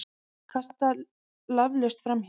Kasta laflaust framhjá.